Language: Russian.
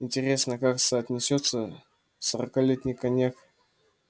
интересно как соотнесётся сорокалетний коньяк